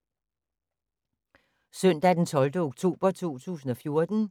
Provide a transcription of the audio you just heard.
Søndag d. 12. oktober 2014